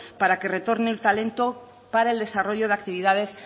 para que retorne el talento para el desarrollo de actividades